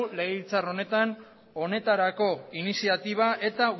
legebiltzar honetarako iniziatiba eta